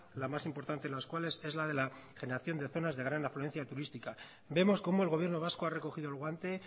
la más importante las cuales es la de la generación de zonas de gran afluencia turística vemos como el gobierno vasco ha recogido el guante